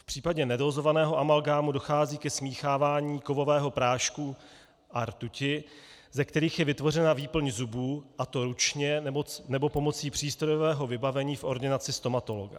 V případě nedózovaného amalgámu dochází ke smíchávání kovového prášku a rtuti, ze kterých je vytvořena výplň zubu, a to ručně, nebo pomocí přístrojového vybavení v ordinaci stomatologa.